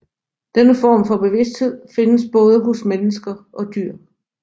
Denne form for bevidsthed findes både hos mennesker og dyr